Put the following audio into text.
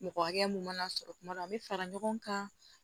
Mɔgɔ hakɛ mun mana sɔrɔ kuma dɔ la an bɛ fara ɲɔgɔn kan